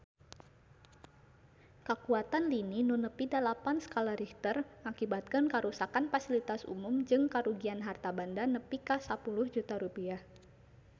Kakuatan lini nu nepi dalapan skala Richter ngakibatkeun karuksakan pasilitas umum jeung karugian harta banda nepi ka 10 juta rupiah